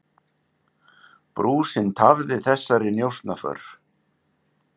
Brúsinn tafði þessari njósnaför.